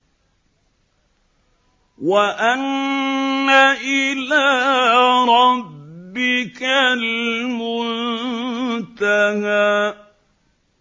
وَأَنَّ إِلَىٰ رَبِّكَ الْمُنتَهَىٰ